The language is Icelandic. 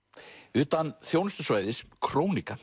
utan þjónustusvæðis